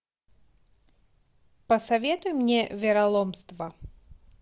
посоветуй мне вероломство